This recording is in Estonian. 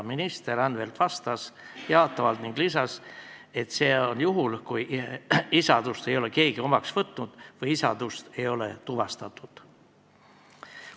Minister Anvelt vastas jaatavalt ning lisas, et seda juhul, kui keegi ei ole isadust omaks võtnud või isadust ei ole tuvastatud.